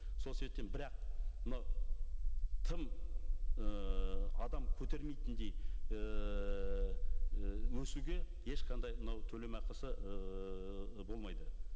сол себептен бірақ мынау тым ыыы адам көтермейтіндей ііі өсуге ешқандай мынау төлемақысы ыыы болмайды